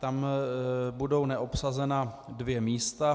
Tam budou neobsazena dvě místa.